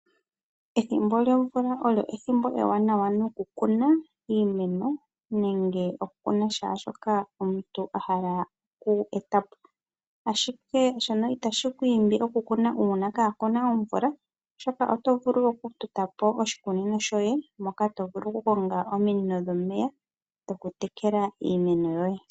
Ethimbo lyomvula olyo ethimbo ewanawa nokukuna iimeno nenge kehe shoka omuntu ahala oku etapo. Ihe shono itashi ku imbi okukuna oshoka oto vulu okutota oshikunino shoye mono to vulu okukonga ominino dhomeya dhokutekela iimeno yoye.